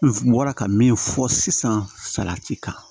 N bɔra ka min fɔ sisan salati kan